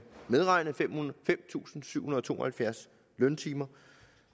medregne fem tusind syv hundrede og to og halvfjerds løntimer